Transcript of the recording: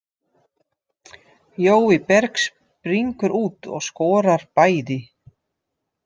Jói Berg springur út og skorar bæði.